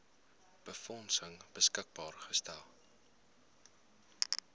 befondsing beskikbaar gestel